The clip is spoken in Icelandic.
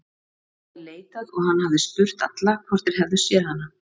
Hann hafði leitað og hann hafði spurt alla hvort þeir hefðu séð hana.